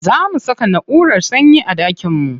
Za mu saka naʼurar sanyi a ɗakin mu.